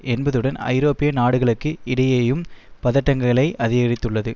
என்பதுடன் ஐரோப்பிய நாடுகளுக்கு இடையேயும் பதட்டங்களை அதிகரித்துள்ளது